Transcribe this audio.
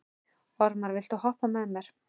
Ormar, viltu hoppa með mér?